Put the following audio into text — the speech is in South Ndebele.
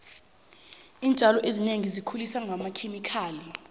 iintjalo ezinengi sezikhuliswa ngamakhemikhali